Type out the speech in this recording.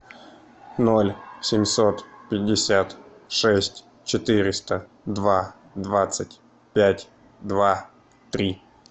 ноль семьсот пятьдесят шесть четыреста два двадцать пять два три